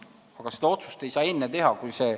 Aga seda otsust ei saa kohe teha.